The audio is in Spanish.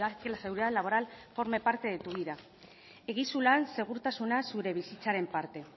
que la seguridad laboral forme parte de tu vida egizu lan segurtasuna zure bizitzaren parte